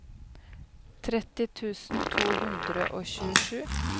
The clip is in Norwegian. tretti tusen to hundre og tjuesju